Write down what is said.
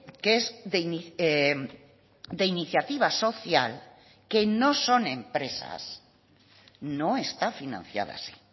que es de iniciativa social que no son empresas no está financiada así